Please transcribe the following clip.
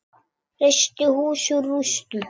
Reisti hús úr rústum.